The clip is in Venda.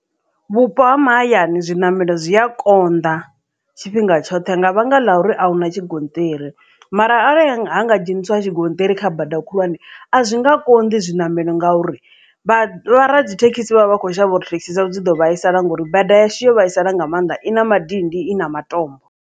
Vhupo ha mahayani zwiṋamelo zwi a konḓa tshifhinga tshoṱhe nga vhanga ḽa uri a hu na tshigonṱiri mara arali ya nga ha nga dzheniswa a tshigonṱiri kha badani khulwane a zwi nga konḓi zwiṋamelo ngauri vho radzithekhisi vha vha kho shavha uri thekhisi dzavho dzi ḓo vhaisala ngori bada yashu yo vhaisala nga maanḓa i na madindi i na matombo.